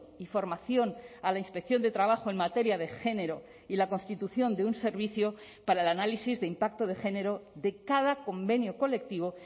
y formación a la inspección de trabajo en materia de género y la constitución de un servicio para el análisis de impacto de género de cada convenio colectivo